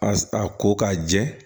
A a ko k'a jɛ